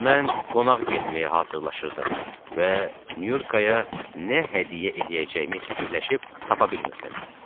Mən qonaq getməyə hazırlaşırdım və Nyurkaya nə hədiyyə eləyəcəyimi fikirləşib tapa bilmirdim.